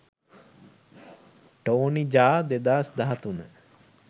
tony jaa 2013